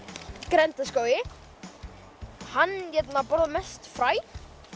grenndarskógi hann borðar mest fræ